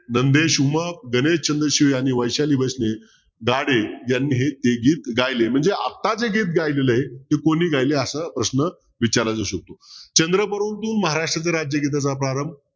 गणेश, उमा, चन्द्रशीलआणि वैशाली बस्ते यांनी ते गीत गायले म्हणजे आत्ता जे गीत गायलेले आहे ते कोणी गेले असा प्रश्न विचारला जाऊ शकतो चंद्र परंतु महाराष्ट्र गीताचा प्रारंभ